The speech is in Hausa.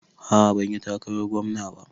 A'a banyi takarar gwamna ba